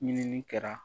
Ɲinini kɛra